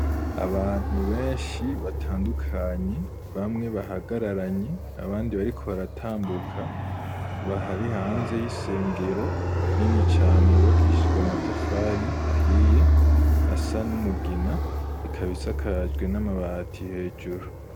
Abantu benshi, batandukanye, bamwe bahagararanye, abandi bariko baratambuka, bari hanze y'isengero, nini cane, yubakishijwe amatafari ahiye, asa n'umugina, ikaba isajwe n'amabati hejuru.